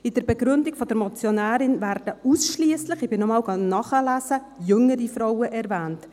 In der Begründung der Motionärin werden ausschliesslich – ich habe es nochmals nachgelesen – jüngere Frauen erwähnt.